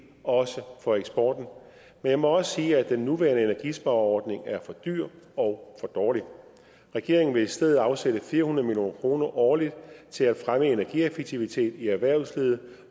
også for eksporten men jeg må også sige at den nuværende energispareordning er for dyr og for dårlig regeringen vil i stedet afsætte fire hundrede million kroner årligt til at fremme energieffektivitet i erhvervslivet